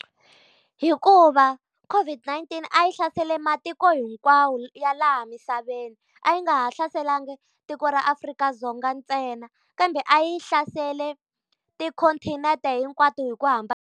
Hikuva COVID 19 a yi hlaserile matiko hinkwawo ya laha misaveni. A yi nga ha hlaselangi tiko ra Afrika-Dzonga ntsena, kambe a yi hlaserile ti-continent hinkwato hi ku .